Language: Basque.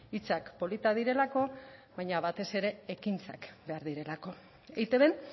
hitzak politak direlako baina batez ere ekintzak behar direlako eitbn